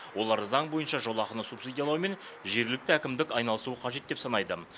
олар заң бойынша жолақыны субсидиялаумен жергілікті әкімдік айналысуы қажет деп санайды